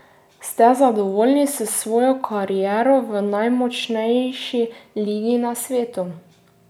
Ste zadovoljni s svojo kariero v najmočnejši ligi na svetu?